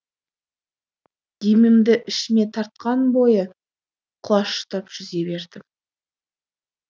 демімді ішіме тартқан бойы құлаштап жүзе бердім